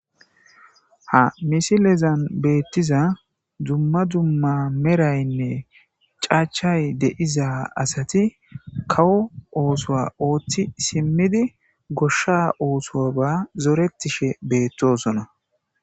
ha misilezan beettiza dumma dumma meraynne caachay deiza asati kawo oosoa ooththi simmidi goshsha ooso ba zoretishe beettosona